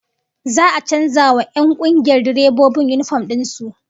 Za'a a canza wa 'yan kungiyar direbobin yinifom din su